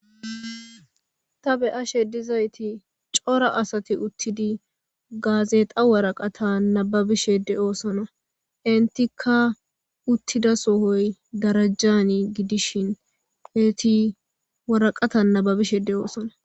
Ta beyashe dizayti cora asati uttidi gaazexa waraqata nababishede oosona intikka uttida sohoy darajjani gidishin heeti waraqata nababishede oosona.